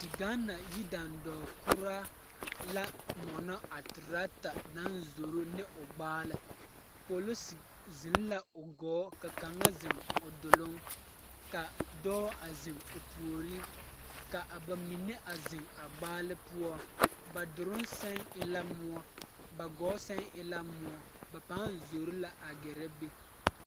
Ta Gaana yidandɔɔ koraa la a mɔnɔ a torɔta zoro ne gbaale polisi ziŋ la o gɔɔ ka kaŋa ziŋ doloŋ ka dɔɔ a ziŋ o puori ka ba mine a ziŋ a gbaale poɔ ba doloŋ sɛŋ e la moɔ ba gɔɔ sɛŋ e la moɔ ba paŋ zoro la a gɛrɛ be.